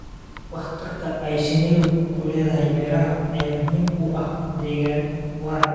Waxtarka ay shinnidu ku leedahay beeraha ayaa muhiim u ah deegaan waara.